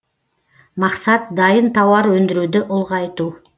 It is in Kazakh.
мақсат дайын тауар өндіруді ұлғайту